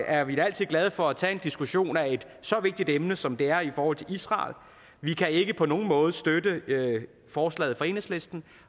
er vi da altid glade for at tage en diskussion af et så vigtigt emne som det er i forhold til israel vi kan ikke på nogen måde støtte forslaget fra enhedslisten